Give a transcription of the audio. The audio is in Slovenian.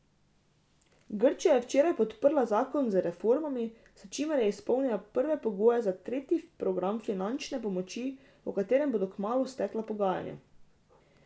Grčija je včeraj podprla zakon z reformami, s čimer je izpolnila prve pogoje za tretji program finančne pomoči, o katerem bodo kmalu stekla pogajanja.